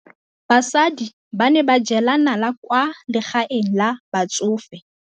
Basadi ba ne ba jela nala kwaa legaeng la batsofe.